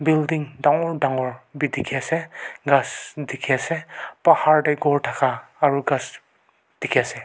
building dangor dangor bhi dikhi ase ghas dikhi ase pahar teh ghor thaka aru ghas dikhi ase.